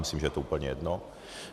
Myslím, že je to úplně jedno.